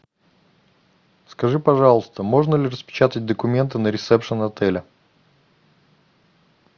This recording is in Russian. скажи пожалуйста можно ли распечатать документы на ресепшн отеля